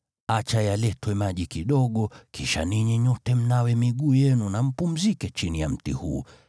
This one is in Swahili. Acha yaletwe maji kidogo, kisha ninyi nyote mnawe miguu yenu na mpumzike chini ya mti huu.